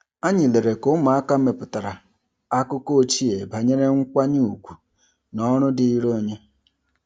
Anyị lelere ka ụmụaka mepụtara akụkọ ochie banyere nkwanye ùgwù na ọrụ dịrị onye.